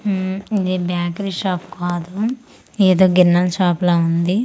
ఉమ్ ఇది bakery shop కాదు ఏదో గిన్నెల్ షాప్ లా ఉంది.